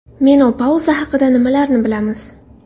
Menopauza haqida nimalarni bilamiz?.